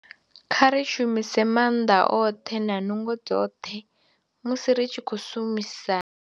Kha ri shumise maanḓa oṱhe na nungo dzoṱhe musi ri tshi khou shumisa.